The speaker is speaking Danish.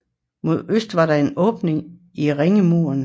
Mod øst var der en åbning i ringmuren